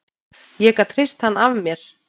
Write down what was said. Ég gat hrist hann af mér.